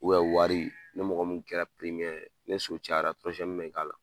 wari ni mɔgɔ min kɛra ni so cayara bɛ k'a la.